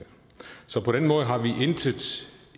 så på den måde har vi intet